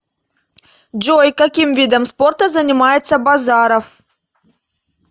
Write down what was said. джой каким видом спорта занимается базаров